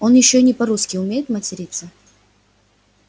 он ещё не по-русски умеет материться